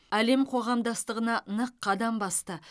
әлем қоғамдастығына нық қадам басты